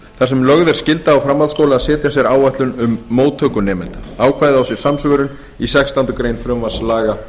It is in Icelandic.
lögð er skylda á framhaldsskóla að setja sér áætlun um móttöku nemenda ákvæðið á sér samsvörun í sextándu grein frumvarps laga